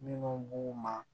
Minnu b'u ma